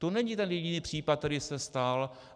To není ten jediný případ, který se stal.